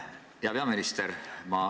Hea peaminister!